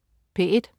P1: